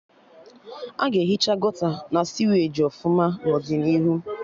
Aga ehicha Gọta na siweji ọfụma n'ọdịnihu